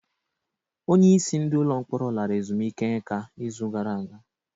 Onyeisi ndị ọrụ ụlọ mkpọrọ lara ezumike nká izu gara aga.